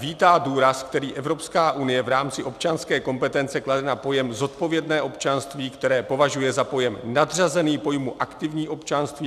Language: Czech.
"Vítá důraz, který Evropská unie v rámci občanské kompetence klade na pojem zodpovědné občanství, které považuje za pojem nadřazený pojmu aktivní občanství.